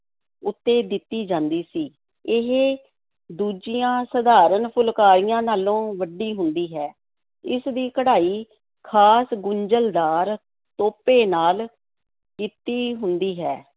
ਉੱਤੇ ਦਿੱਤੀ ਜਾਂਦੀ ਸੀ, ਇਹ ਦੂਜੀਆਂ ਸਧਾਰਨ ਫੁਲਕਾਰੀਆਂ ਨਾਲੋਂ ਵੱਡੀ ਹੁੰਦੀ ਹੈ। ਇਸ ਦੀ ਕਢਾਈ ਖ਼ਾਸ ਗੁੰਝਲਦਾਰ ਤੋਪੇ ਨਾਲ ਕੀਤੀ ਹੁੰਦੀ ਹੈ।